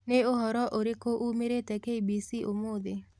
ni ũhoro ũrĩkũ umiirite k.bc.umuthi